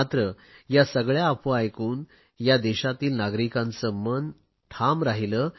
मात्र या सगळया अफवा ऐकून या देशातील नागरिकांचे मन ठाम राहिले